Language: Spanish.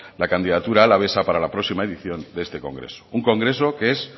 la candidatura alavesa para la próxima edición de este congreso un congreso que es